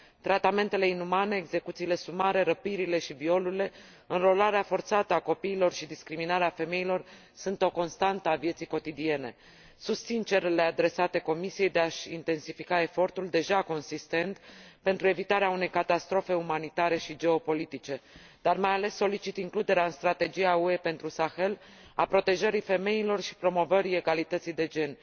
Tratamentele inumane, execuțiile sumare, răpirile și violurile, înrolarea forțată a copiilor și discriminarea femeilor sunt o constantă a vieții cotidiene. Susțin cererile adresate Comisiei de a și intensifica efortul deja consistent pentru evitarea unei catastrofe umanitare și geopolitice, dar mai ales solicit includerea în strategia UE pentru Sahel a protejării femeilor și promovării egalității de gen.